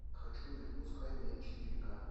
хочу не отпускай меня четыре ка